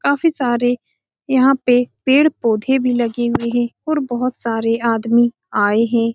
काफी सारे यहाँ पे पेड़-पौधे भी लगे हुए हैं और बोहोत सारे आदमी आये हैं।